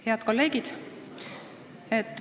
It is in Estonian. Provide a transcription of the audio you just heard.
Head kolleegid!